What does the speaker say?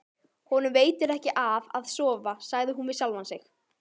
Honum veitir ekki af að sofa, sagði hún við sjálfa sig.